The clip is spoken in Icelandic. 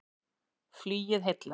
Flugið heillar